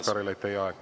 Aitäh, Jaanus Karilaid!